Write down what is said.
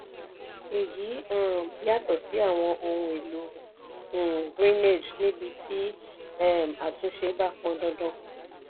èyí um yàtọ̀ sí àwọn ohun èlò um greenage níbí tí um àtúnṣe bá pọn dandan.